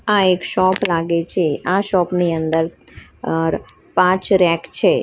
આ એક શોપ લાગે છે આ શોપ ની અંદર અ પાંચ રેક છે.